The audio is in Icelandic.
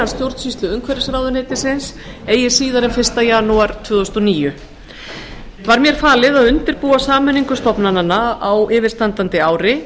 stjórnsýslu umhverfisráðuneytisins eigi síðar en fyrsta janúar tvö þúsund og níu var mér falið að undirbúa sameiningu stofnananna á yfirstandandi ári